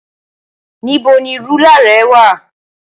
Níbo ni rúlà rẹ wà?